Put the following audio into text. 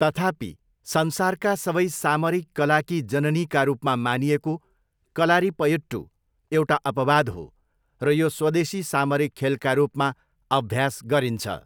तथापि, 'संसारका सबै सामरिक कलाकी जननी' का रूपमा मानिएको कलारिपयट्टु एउटा अपवाद हो र यो स्वदेशी सामरिक खेलका रूपमा अभ्यास गरिन्छ।